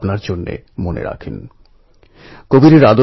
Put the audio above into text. রমেশ নিজেও মেলায় খেলনা বিক্রি করত